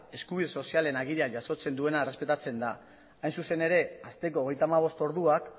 eskubide sozialen agirian jasotzen duena errespetatzen da hain zuzen ere asteko hogeita hamabost orduak